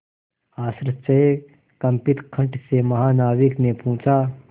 आश्चर्यकंपित कंठ से महानाविक ने पूछा